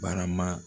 Barama